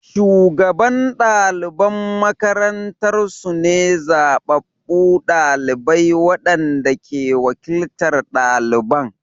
Shugaban ɗaliban makarantar su ne zabbabu ɗalibai waɗanda ke wakiltar ɗaliban.